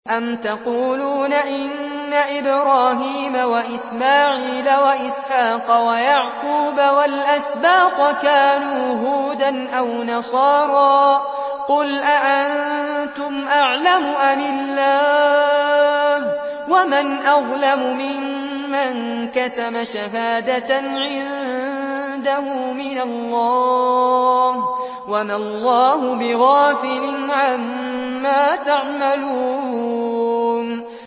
أَمْ تَقُولُونَ إِنَّ إِبْرَاهِيمَ وَإِسْمَاعِيلَ وَإِسْحَاقَ وَيَعْقُوبَ وَالْأَسْبَاطَ كَانُوا هُودًا أَوْ نَصَارَىٰ ۗ قُلْ أَأَنتُمْ أَعْلَمُ أَمِ اللَّهُ ۗ وَمَنْ أَظْلَمُ مِمَّن كَتَمَ شَهَادَةً عِندَهُ مِنَ اللَّهِ ۗ وَمَا اللَّهُ بِغَافِلٍ عَمَّا تَعْمَلُونَ